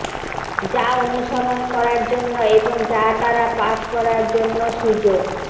যা অনুসরণ করার জন্য এবং যা দ্বারা পাস করার জন্য সুযোগ